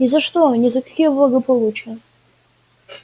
ни за что ни за какие благополучия